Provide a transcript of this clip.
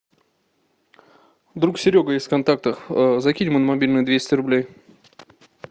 друг серега из контактов закинь ему на мобильный двести рублей